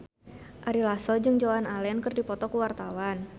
Ari Lasso jeung Joan Allen keur dipoto ku wartawan